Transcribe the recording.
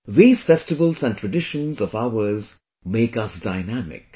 These festivals and traditions of ours make us dynamic